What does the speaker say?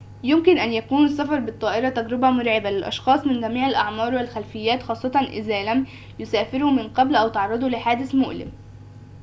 يمكن أن يكون السفر بالطائرة تجربة مرعبة للأشخاص من جميع الأعمار والخلفيات خاصةً إذا لم يسافروا من قبل أو تعرضوا لحادثٍ مؤلمٍ